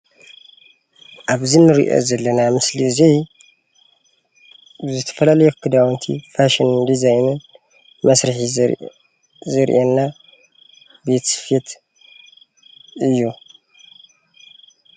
ኣብዚ እንሪኦ ዘለና ምስሊ እዚ ብዝተፈላለየ ክዳውነቲ ፋሽንን ዲዛይንን መስርሒ ዘርእየና ቤት ስፌት እዩ፡፡